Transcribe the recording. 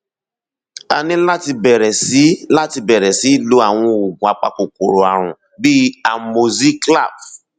a ní láti bẹrẹ sí láti bẹrẹ sí lo àwọn oògùn apakòkòrò ààrùn bíi amoxiclav